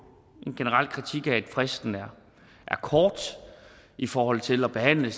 en generel kritik af at fristen er kort i forhold til at behandle